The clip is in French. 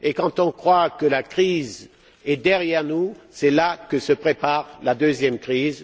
Quand on croit que la crise est derrière nous, c'est là que se prépare la deuxième crise.